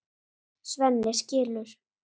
Svenni skilur.